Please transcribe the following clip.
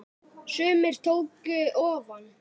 Sumir tóku ofan!